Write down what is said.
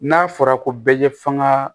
N'a fɔra ko bɛɛ ye faŋaa